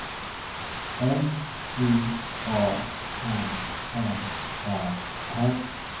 M Y A N M A R